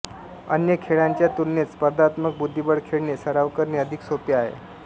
अन्य खेळांच्या तुलनेत स्पर्धात्मक बुद्धिबळ खेळणे सराव करणे अधिक सोपे आहे